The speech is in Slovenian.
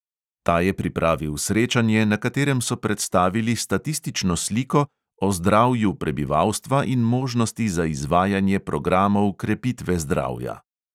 Ta je pripravil srečanje, na katerem so predstavili statistično sliko o zdravju prebivalstva in možnosti za izvajanje programov krepitve zdravja.